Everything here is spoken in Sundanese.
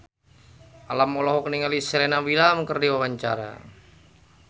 Alam olohok ningali Serena Williams keur diwawancara